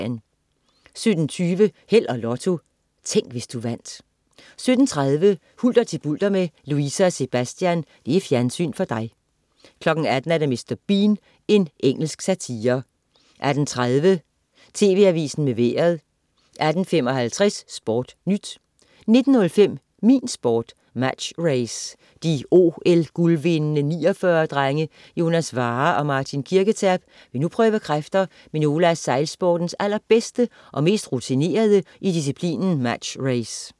17.20 Held og Lotto. Tænk, hvis du vandt 17.30 Hulter til bulter med Louise og Sebastian. Fjernsyn for dig 18.00 Mr. Bean. Engelsk satire 18.30 TV Avisen med Vejret 18.55 SportNyt 19.05 Min Sport: Match Race. De OL-guldvindende 49'er-drenge Jonas Warrer og Martin Kirketerp vil nu prøve kræfter med nogle af sejlsportens allerbedste og mest rutinerede i disciplinen Match Race